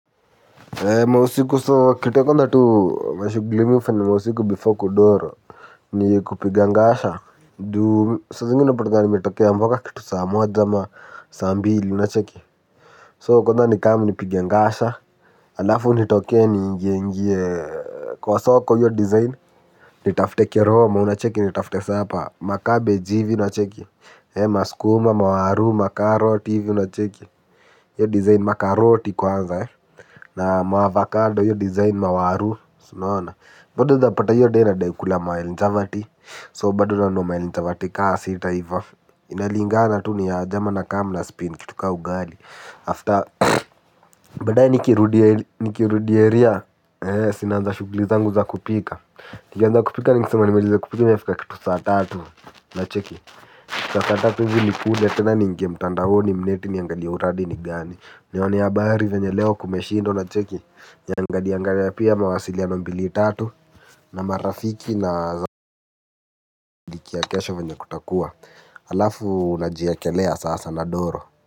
Ee mausiku so kite kondha tu mashugli ufanya mausiku bifo kudoro ni kupigangasha duu sa zingine napatanga nimetokea amboka kitu sa moja ama sambi ili unacheki so kondha nikamu nipigangasha alafu nitoke ni ingie ingie kwa soko iyo dizayn nitaftekiroma unacheki nitaftese apa makabej ivi nacheki ee maskuma mawaru makaroti ivi unacheki yyo dizayn makaroti kwanza ee na maavokado yyo design mawaru. Sinoona bado zapata yyo de nadaikula manjavati So bado nanunua manjavati kaa sita hivof. Inalingana tu ni ajeama na kam na spin kitu kaa ugali After Badae nikirudia nikirudi eria eh sinanza shuglizangu za kupika. Nikanza kupika ni nkisema nimaliza kupika mefika kitu saatatu na cheki. Sa saatatu hivi nikule tena niinge mtandahoni mneti niyangalie uradi nigani. Nione abari venye leo kumeshinda unacheki. Niangaliangalia pia mawasiliano mbili tatu na marafiki na zafiki ya kesho venye kutakua. Alafuu najiekelea sasa nadoro.